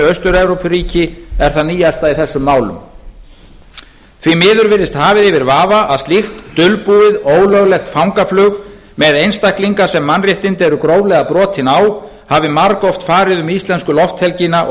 austur evrópuríki er það nýjasta í þessum málum því miður virðist hafið yfir vafa að slíkt dulbúið ólöglegt fangaflug með einstaklinga sem mannréttindi eru gróflega brotin á hafi margoft farið um íslensku lofthelgina og